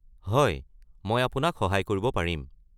হয়, মই আপোনাক সহায় কৰিব পাৰিম।